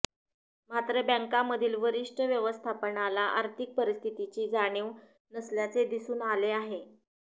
मात्र बँकांमधील वरिष्ठ व्यवस्थापनाला आर्थिक परिस्थितीची जाणीव नसल्याचे दिसून आले आहे